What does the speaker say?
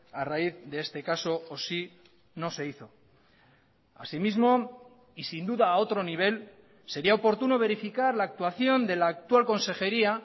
a raíz de este caso o si no se hizo así mismo y sin duda a otro nivel sería oportuno verificar la actuación de la actual consejería